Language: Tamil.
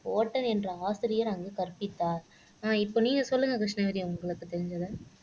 என்ற ஆசிரியர் அங்கு கற்பித்தார் அஹ் இப்ப நீங்க சொல்லுங்க கிருஷ்ணவேணி உங்களுக்கு தெரிஞ்சத